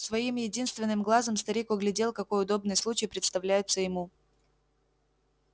своим единственным глазом старик углядел какой удобный случай представляется ему